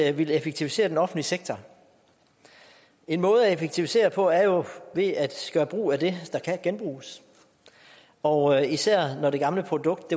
at ville effektivisere den offentlige sektor en måde at effektivisere på er jo ved at gøre brug af det der kan genbruges og især når det gamle produkt